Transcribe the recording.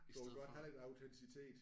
Du vil godt have lidt autenticitet?